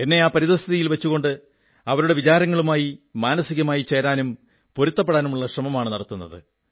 എന്നെ ആ പരിസ്ഥിതിയിൽ വച്ചുകൊണ്ട് അവരുടെ വിചാരങ്ങളുമായി മാനസികമായി ചേരാനും പൊരുത്തപ്പെടാനുള്ള ശ്രമമാണു നടത്തുന്നത്